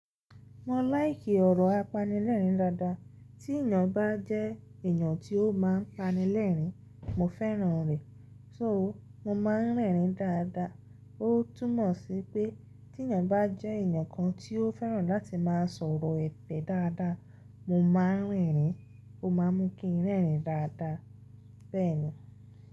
Mo láìkì ọ̀rọ̀ apanilẹ́rìn-ín dáadáa. Tí èèyàn bá jẹ́ èèyàn tí ó máa ń panilẹ́rìn-ín, mo fẹ́ràn rẹ̀. So mo máa ń rẹ́rìn-ín dáadáa. Ó túmọ̀ sí pé tí èèyàn bá jẹ́ èèyàn kan tí ó fẹ́ràn láti máa sọ̀rọ̀ ẹ̀be dáadáa, mo máa rìnrín, ó máa mú kí n rẹ́rìn-ín dáadáa. Bẹ́ẹ̀ ni.